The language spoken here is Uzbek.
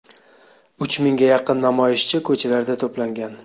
Uch mingga yaqin namoyishchi ko‘chalarda to‘plangan.